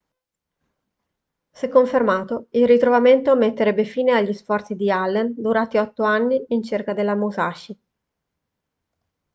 se confermato il ritrovamento metterebbe fine agli sforzi di allen durati otto anni in cerca della musashi